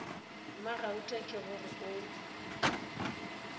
mmagauta ke go re o